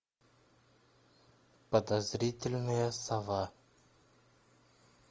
подозрительная сова